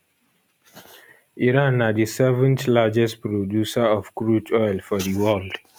iran na di seventh largest producer of crude oil for di world